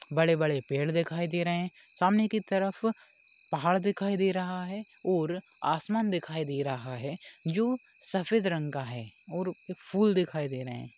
बड़े-बड़े पेड़ दिखाई दे रहे हैं सामने की तरफ पहाड़ दिखाई दे रहा है और आसमान दिखाई दे रहा है जो सफेद रंग का है और फूल दिखाई दे रहे हैं।